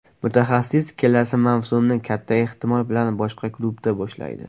Mutaxassis kelasi mavsumni kata ehtimol bilan boshqa klubda boshlaydi.